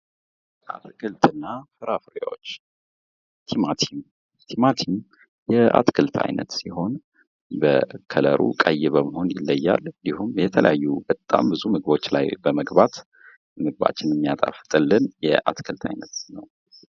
አትክልት እና ፍራፍሬዎች፦ ቲማቲም ፦ ቲማቲም የአትክልት ዓይነት ሲሆን በከለሩ ቀይ በመሆን ይለያል እንዲሁም የተለያዩ በጣም ብዙ ምግቦች ላይ በመግባት ምግባችንን የሚያጣፍጥልን የአትክልት አይነት ነው ።